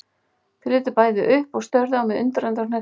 Þau litu bæði upp og störðu á mig undrandi og hneyksluð.